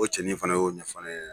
O cɛnin fana y'o ɲɛfɔ ne ɲɛna